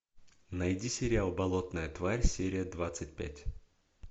найди сериал болотная тварь серия двадцать пять